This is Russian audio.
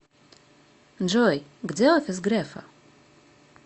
джой где офис грефа